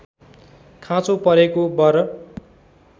खाँचो परेको बर